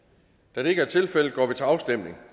da det ikke er tilfældet går vi til afstemning